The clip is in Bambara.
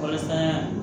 Walasa